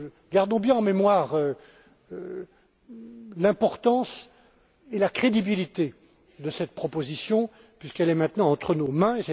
euro. Gardons bien en mémoire l'importance et la crédibilité de cette proposition, puisqu'elle est maintenant entre nos mains.